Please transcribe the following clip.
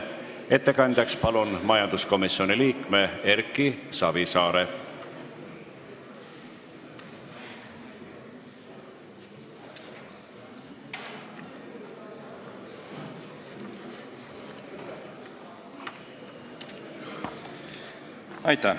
Ettekandjaks palun majanduskomisjoni liikme Erki Savisaare!